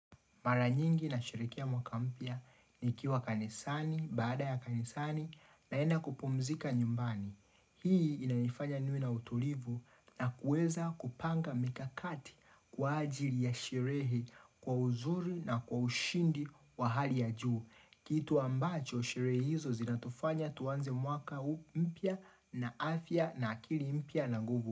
Mara nyingi nashirikia mwaka mpya nikiwa kanisani baada ya kanisani naenda kupumzika nyumbani. Hii inanifanya niwe na utulivu na kuweza kupanga mikakati kwa ajili ya sherehe kwa uzuri na kwa ushindi wa hali ya juu. Kitu ambacho sherehe hizo zinatufanya tuanze mwaka mpya na afya na akili mpya na nguvu.